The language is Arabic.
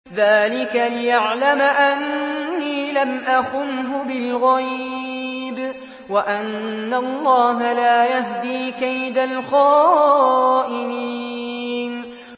ذَٰلِكَ لِيَعْلَمَ أَنِّي لَمْ أَخُنْهُ بِالْغَيْبِ وَأَنَّ اللَّهَ لَا يَهْدِي كَيْدَ الْخَائِنِينَ